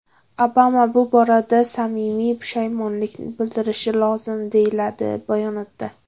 Obama bu borada samimiy pushaymonlik bildirishi lozim”, deyiladi bayonotda.